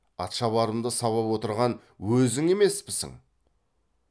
атшабарымды сабап отырған өзің емеспісің